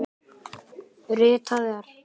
Ritað er